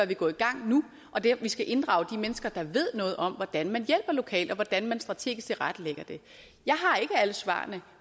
vi gå i gang nu vi skal inddrage de mennesker der ved noget om hvordan man hjælper lokalt og hvordan man strategisk tilrettelægger det jeg har ikke alle svarene